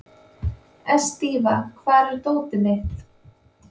Estiva, hvar er dótið mitt?